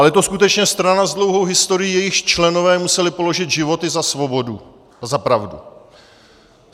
Ale je to skutečně strana s dlouhou historií, jejíž členové museli položit životy za svobodu a za pravdu.